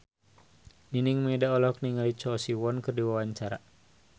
Nining Meida olohok ningali Choi Siwon keur diwawancara